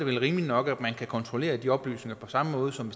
vel rimeligt nok at man kan kontrollere de oplysninger på samme måde som